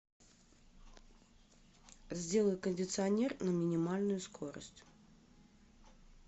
сделай кондиционер на минимальную скорость